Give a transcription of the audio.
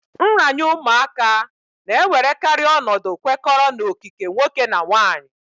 Nranye ụmụaka na-ewerekarị ọnọdụ kwekọrọ na okike nwoke nà nwaanyị